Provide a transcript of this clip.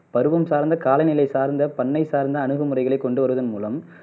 பருவம் சார்ந்த காலநிலை சார்ந்த பண்ணை சார்ந்த அணுகுமுறைகளை கொண்டுவருவதன் மூலம்